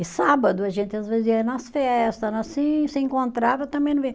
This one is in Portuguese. E sábado a gente às vezes ia nas festa, se encontrava, também não